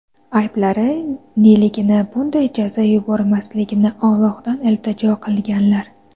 Ayblari neligini, bunday jazo yubormasligini Ollohdan iltijo qilganlar.